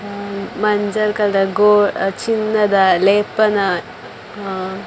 ಆ ಮಂಜಲ್ ಕಲರ್ ಗೋ ಚಿನ್ನದ ಲೇಪನ ಅಹ್ --